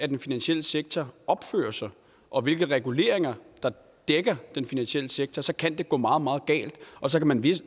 den finansielle sektor opfører sig og hvilke reguleringer der dækker den finansielle sektor så kan det gå meget meget galt så kan man